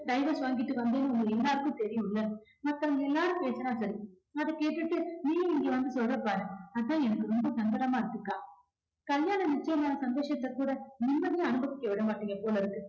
divorce வாங்கிட்டு வந்தேன்னு உங்க எல்லாருக்கும் தெரியும்ல. மத்தவங்க எல்லாரும் பேசுனா சரி அத கேட்டுட்டு நீயும் இங்க வந்து சொல்ற பாரு அதான் எனக்கு ரொம்ப சங்கடமா இருக்கு அக்கா கல்யாணம் நிச்சயம் ஆன சந்தோஷத்தை கூட நிம்மதியா அனுபவிக்க விட மாட்டீங்க போலருக்கு